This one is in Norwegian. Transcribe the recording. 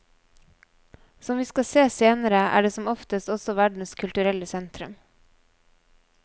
Som vi skal se senere er det som oftest også verdens kulturelle sentrum.